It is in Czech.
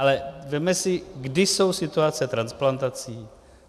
Ale vezměme si, kdy jsou situace transplantací.